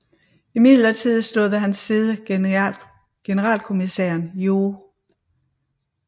Imidlertid stod ved hans side generalkommissæren Joh